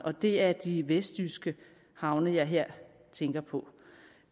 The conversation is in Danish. det er de vestjyske havne jeg her tænker på